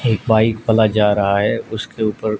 एक बाइक वाला जा रहा हैं उसके ऊपर--